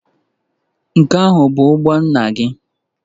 Nke ahụ bụ ụgbọ nna gị?